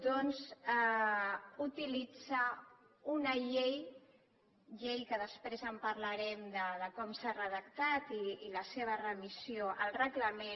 doncs utilitzar una llei llei que després en parlarem de com s’ha redactat i la seva remissió al reglament